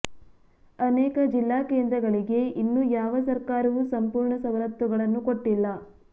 ಅನೇಕ ಜಿಲ್ಲಾ ಕೇಂದ್ರಗಳಿಗೇ ಇನ್ನೂ ಯಾವ ಸರ್ಕಾರವೂ ಸಂಪೂರ್ಣ ಸವಲತ್ತುಗಳನ್ನು ಕೊಟ್ಟಿಲ್ಲ